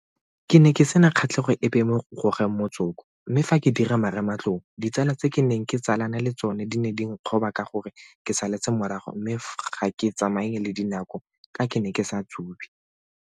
Ke ne ke sena kgatlhego epe mo go gogeng motsoko mme fa ke dira marematlou ditsala tse ke neng ke tsalane le tsona di ne di nkgoba ka gore ke saletse morago mme ga ke tsamaye le dinako ka ke ne ke sa tsube.